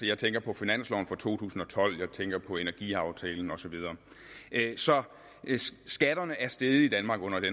jeg tænker på finansloven for to tusind og tolv jeg tænker på energiaftalen og så videre så skatterne er steget i danmark i